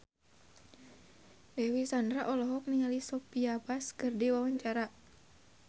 Dewi Sandra olohok ningali Sophia Bush keur diwawancara